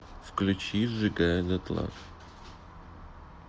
включи сжигая дотла